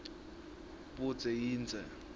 budze yindze